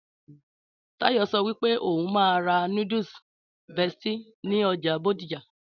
Táyọ̀ sọ wípé òhún máa ra noodles bestie ní ọjà bódìjà